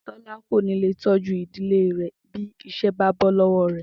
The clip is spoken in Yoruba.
Tó̩lá kò ní lè tó̩jú ìdílé rè̩ bí is̩é̩ bá bo̩ ló̩wó̩ rè̩